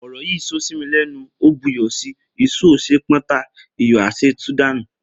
Oro yi so si mi lenu o bu iyo si, iso o se pon ta, iyo a se tu danu.